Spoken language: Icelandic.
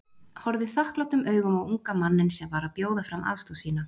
Horfði þakklátum augum á unga manninn sem var að bjóða fram aðstoð sína.